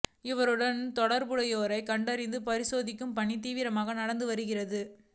இவருடன் தொடா்புடையோரை கண்டறிந்து பரிசோதிக்கும் பணி தீவிரமாக நடந்து வருகிறது